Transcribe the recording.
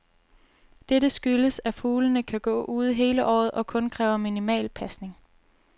Dette skyldes, at fuglene kan gå ude hele året og kun kræver minimal pasning.